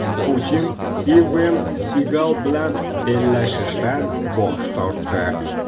Putin Stiven Sigal bilan bellashishdan bosh tortdi.